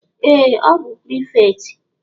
Ee! Ọ bụ prịfektị.